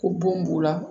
Ko bon b'u la